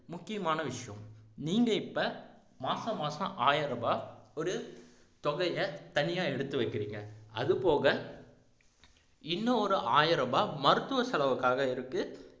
முக்கியமான விஷயம் நீங்க இப்ப மாச மாசம் ஆயிரம் ரூபாய் ஒரு தொகையை தனியா எடுத்து வைக்கிறீங்க அது போக இன்னும் ஒரு ஆயிர ரூபாய் மருத்துவ செலவுக்காக இருக்கு